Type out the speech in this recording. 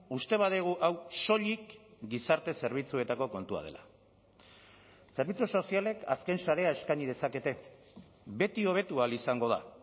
uste badugu hau soilik gizarte zerbitzuetako kontua dela zerbitzu sozialek azken sarea eskaini dezakete beti hobetu ahal izango da